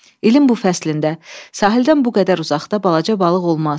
İlin bu fəslində sahildən bu qədər uzaqda balaca balıq olmaz.